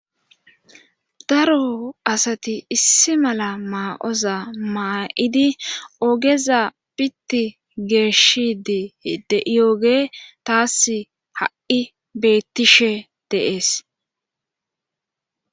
daro asati issi mala maa7oza maa7idi ogeza pitti geeshidi deioge taas ha7i bettishe deees